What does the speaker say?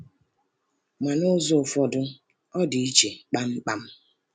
Ma, n’ụzọ ụfọdụ, ọ dị iche kpamkpam.